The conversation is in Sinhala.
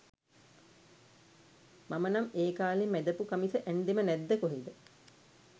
මම නම් ඒකාලෙ මැද පු කමිස ඇන්දෙම නැද්ද කොහෙද?